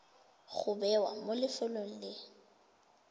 go bewa mo lefelong le